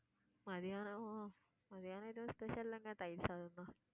மதியானம்~ மதியானம் எதுவும் special இல்லங்க தயிர் சாதம் தான்.